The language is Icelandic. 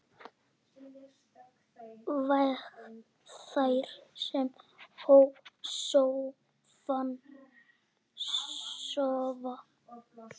Vek þær sem sofa.